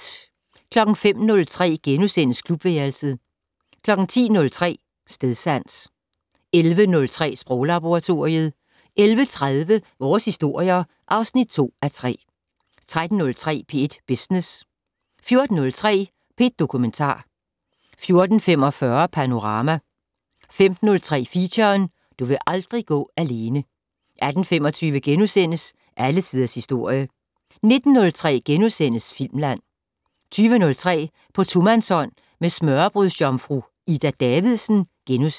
05:03: Klubværelset * 10:03: Stedsans 11:03: Sproglaboratoriet 11:30: Vores historier (2:3) 13:03: P1 Business 14:03: P1 Dokumentar 14:45: Panorama 15:03: Feature: Du vil aldrig gå alene 18:25: Alle tiders historie * 19:03: Filmland *